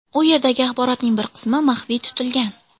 U yerdagi axborotning bir qismi maxfiy tutilgan.